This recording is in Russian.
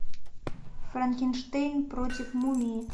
франкенштейн против мумии